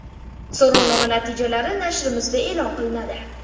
So‘rovnoma natijalari nashrimizda e’lon qilinadi.